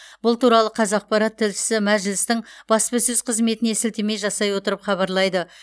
бұл туралы қазақпарат тілшісі мәжілістің баспасөз қызметіне сілтеме жасай отырып хабарлайды